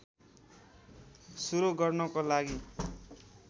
सुरु गर्नको लागि